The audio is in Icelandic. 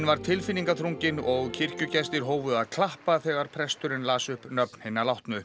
var tilfinningaþrungin og kirkjugestir hófu að klappa þegar presturinn las upp nöfn hinna látnu